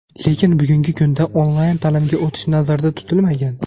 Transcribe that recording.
Lekin bugungi kunda onlayn ta’limga o‘tish nazarda tutilmagan.